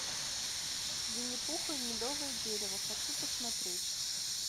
винни пух и медовое дерево хочу посмотреть